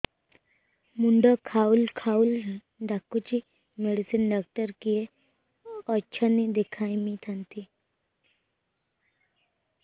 ମୁଣ୍ଡ ଖାଉଲ୍ ଖାଉଲ୍ ଡାକୁଚି ମେଡିସିନ ଡାକ୍ତର କିଏ ଅଛନ୍ ଦେଖେଇ ଥାନ୍ତି